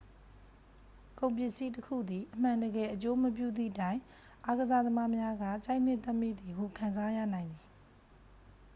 ကုန်ပစ္စည်းတစ်ခုသည် အမှန်တကယ် အကျိုးမပြုသည့်တိုင် အားကစားသမားများက ကြိုက်နှစ်သက်မိသည်ဟု ခံစားရနိုင်သည်